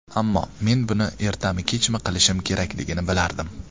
Ammo men buni ertami-kechmi qilishim kerakligini bilardim.